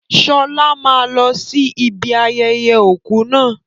Sọlá máa lọ sí ibi ayẹyẹ òkú náà